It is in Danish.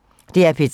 DR P3